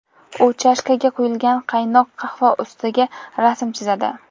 U chashkaga quyilgan qaynoq qahva ustiga rasm chizadi.